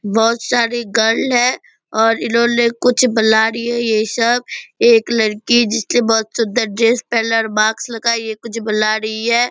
बहुत सारी गर्ल हैं और इन्होने कुछ ये सब एक लड़की जिसने बहुत सुंदर ड्रेस पहना है और मास्क लगाई है कुछ बुला रही है ।